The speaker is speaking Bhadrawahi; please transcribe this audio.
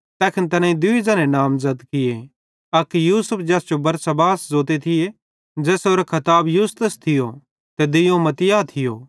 तैखन तैनेईं दुइये ज़ने नामज़द किये अक यूसुफ ज़ैस जो बरसब्बास ज़ोते थिये ज़ेसेरो खताब यूस्तुस थियो ते दुइयोवं मत्तियाह थियो